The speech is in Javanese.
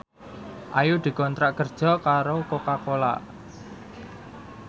Ayu dikontrak kerja karo Coca Cola